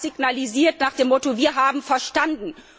Das muss man signalisieren nach dem Motto Wir haben verstanden.